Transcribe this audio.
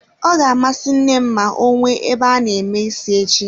Ọ ga-amasị nne m ma ọ nwee ebe a na-eme ísí echi